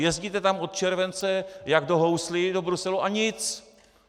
Jezdíte tam od července jak do houslí, do Bruselu, a nic!